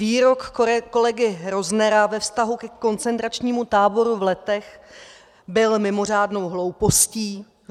Výrok kolegy Roznera ve vztahu ke koncentračnímu táboru v Letech byl mimořádnou hloupostí.